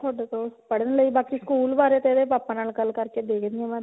ਤੁਹਾਡੇ ਕੋਲ ਪੜ੍ਹਨ ਲਈ ਬਾਕੀ ਸਕੂਲ ਬਾਰੇ ਤਾਂ ਇਹਦੇ papa ਨਾਲ ਗੱਲ ਕਰਕੇ ਦੇਖਦੀ ਆਂ ਮੈਂ